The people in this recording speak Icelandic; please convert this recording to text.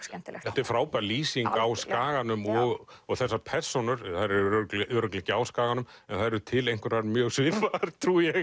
skemmtilegt þetta er frábær lýsing á Skaganum og þessar persónur þær eru örugglega örugglega ekki á Skaganum en þær eru til einhverjar mjög svipaðar trúi ég